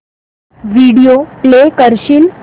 video play करशील